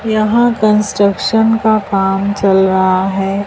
यहां कंस्ट्रक्शन का काम चल रहा है।